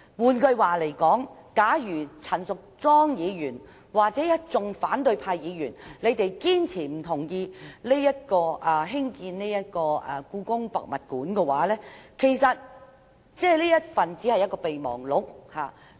"換句話說，假如陳議員或一眾反對派議員堅決反對興建故宮館，雖然已簽訂備忘錄，